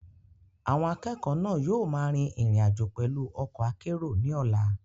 Àwọn akẹ́kọ̀ọ́ náà yóò máa rin ìrìn àjò pẹ̀lú ọkọ̀ akérò ní ọ̀la.